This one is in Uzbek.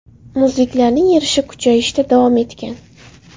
Muzliklarning erishi kuchayishda davom etgan.